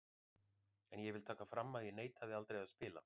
En ég vil taka fram að ég neitaði aldrei að spila.